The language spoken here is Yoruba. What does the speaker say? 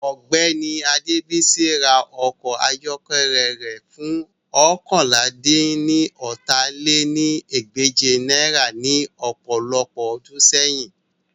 Ọgbẹni Adebisi ra ọkọ ayọkẹlẹ rẹ fun oókànlá-dín-ní-ọ́ta lé ní ẹgbẹ́je naira ni ọpọlọpọ ọdun sẹyin